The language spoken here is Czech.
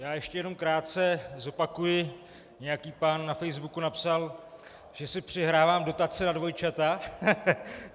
Já ještě jenom krátce zopakuji - nějaký pán na facebooku napsal, že si přihrávám dotace na dvojčata.